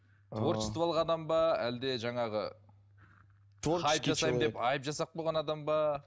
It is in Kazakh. творчестволық адам ба әлде жаңағы хайп жасаймын деп айып жасап қойған адам ба